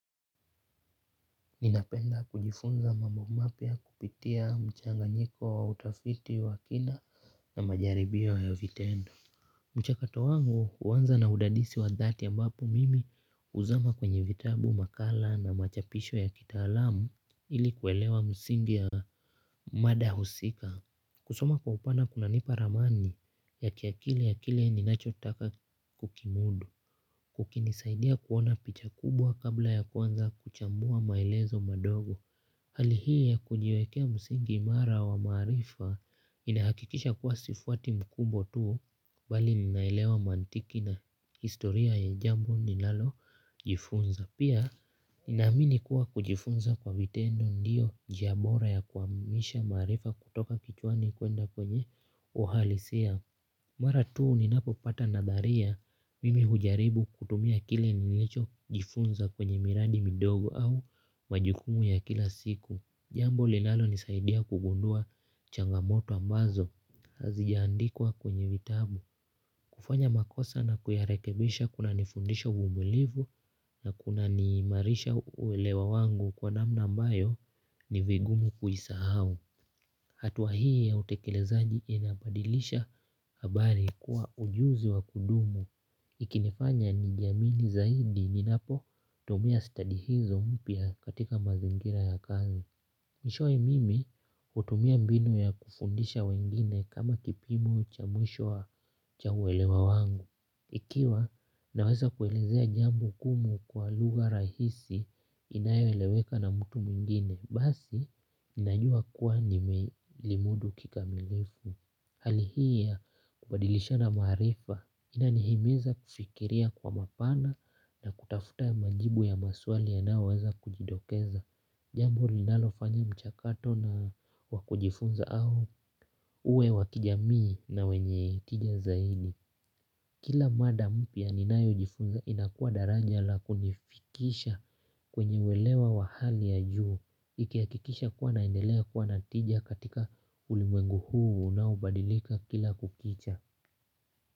Ninapenda kujifunza mambo mapya kupitia mchanganyiko wa utafiti wa kina na majaribio ya vitendo. Mchakato wangu huanza na udadisi wa dhati ambapo mimi huzama kwenye vitabu, makala na machapisho ya kitaalamu ili kuelewa msingi ya mada husika. Kusoma kwa upana kunanipa ramani ya kiakili ya kile ninachotaka kukimudu, ukinisaidia kuona picha kubwa kabla ya kuanza kuchambua maelezo madogo. Hali hii ya kujiwekea msingi imara wa maarifa inahakikisha kuwa sifuati mkubwa tu bali ninaelewa mantiki na historia ya jambo ninalojifunza. Pia inaamini kuwa kujifunza kwa vitendo ndiyo njia bora ya kuhamisha maarifa kutoka kichwani kuenda kwenye uhalisia. Mara tuu ninapopata nadharia mimi hujaribu kutumia kile nilichojifunza kwenye miradi midogo au majukumu ya kila siku. Jambo linalonisaidia kugundua changamoto ambazo hazijaandikwa kwenye vitabu. Kufanya makosa na kuyarekebisha kunanifundisha uvumilivu na kunaniimarisha uelewa wangu kwa namna ambayo ni vigumu kuisahau. Hatua hii ya utekelezaji inabadilisha habari kuwa ujuzi wa kudumu. Ikinifanya nijamini zaidi ninapotumia study hizo mpya katika mazingira ya kazi. Mwishowe mimi hutumia mbinu ya kufundisha wengine kama kipimo cha mwisho wa cha uelewa wangu. Ikiwa naweza kuelezea jambo gumu kwa lugha rahisi inayoeleweka na mtu mwingine basi, ninajua kuwa nimelimudu kikamilifu. Hali hii ya kubadilishana maarifa inanihimiza kufikiria kwa mapana na kutafuta majibu ya maswali yanayoweza kujitokeza. Jambu linalofanya mchakato na wa kujifunza au uwe wa kijamii na wenye hitija zaidi. Kila mada mpya ninayojifunza inakua daraja la kunifikisha kwenye uelewa wa hali ya juu. Nikihakikisha kuwa naendelea kuwa na tija katika ulimwengu huu unaobadilika kila kukicha.